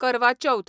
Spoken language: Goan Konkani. करवा चौथ